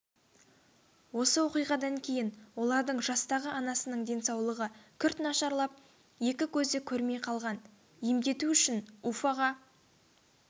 осы оқиғадан кейін олардың жастағы анасының денсаулығы күрт нашарлап екі көзі көрмей қалған емдету үшін уфаға